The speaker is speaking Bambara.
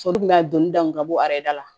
Sotigi bɛ ka donni dan ka bɔ a da la